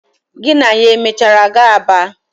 Gị na ya o mechara gaa Aba?